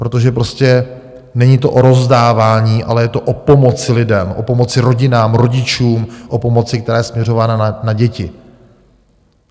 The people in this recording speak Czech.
Protože prostě není to o rozdávání, ale je to o pomoci lidem, o pomoci rodinám, rodičům, o pomoci, které je směřována na děti.